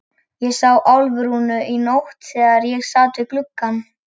Ég sá Álfrúnu í nótt þegar ég sat við gluggann.